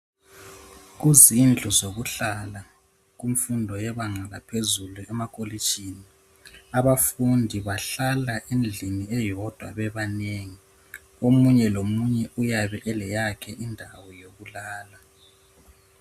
Kuzindlu zokuhlala kunfundo yebanga laphezulu emakolitshini abafundi bahlala endlini eyodwa bebanengi omunye lomunye uyabe eleyakhe indawo yokulala